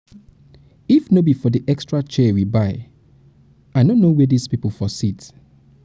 if no be for the extra chair we buy i no buy i no know where dis people go sit